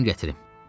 Gedim gətirim.